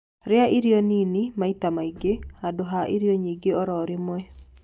rĩa irio nini maĩ ta maĩ ngi handu ha irio nyingĩ oro rimwe